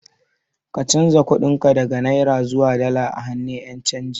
Ka canza kuɗin ka daga Naira zuwa dala a hannun Ƴan canji